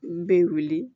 N bɛ wuli